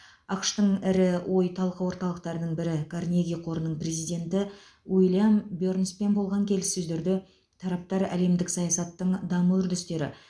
ақш тың ірі ой талқы орталықтарының бірі карнеги қорының президенті уильям бернспен болған келіссөздерде тараптар әлемдік саясаттың даму үрдістері